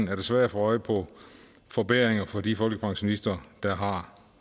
er det svært at få øje på forbedringer for de folkepensionister der har